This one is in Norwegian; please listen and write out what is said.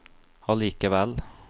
allikevel